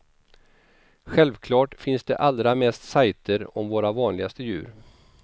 Självklart finns det allra mest sajter om våra vanligaste djur.